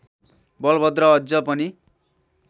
बलभद्र अझ पनि